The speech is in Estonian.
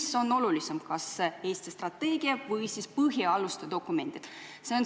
Mis on olulisem, kas Eesti strateegia või põhialuste dokumendid?